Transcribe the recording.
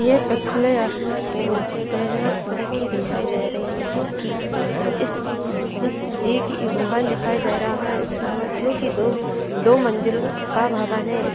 ये पिक खुले आसमान के नीचे बैजनाथपूरी की दिखाई दे रही है जो की उम इस इस ये की भवन दिखाई दे रहा है इस भव जो की दो दो मंजिल का भवन है।